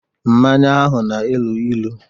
Mmanya ahụ na-elu ilu